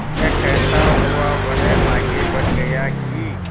यह कहता हुआ वह आगे बढ़ गया कि